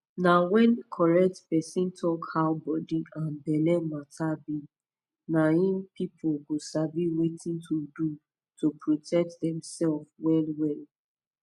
na when correct person talk how body and belle matter be na im people go sabi wetin to do to protect dem sef well well